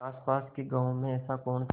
आसपास के गाँवों में ऐसा कौन था